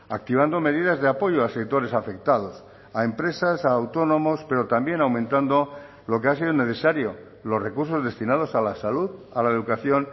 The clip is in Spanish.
activando medidas de apoyo a sectores afectados a empresas a autónomos pero también aumentando lo que ha sido necesario los recursos destinados a la salud a la educación